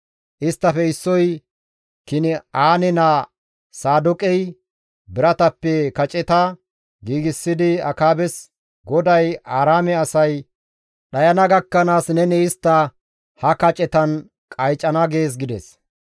Isttafe issoy Kin7aane naa Saadooqey biratappe kaceta giigsidi Akaabes, «GODAY, ‹Aaraame asay dhayana gakkanaas neni istta ha kacetan qaycana› gees» gides.